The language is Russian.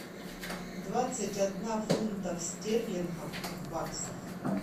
двадцать одна фунтов стерлингов в баксах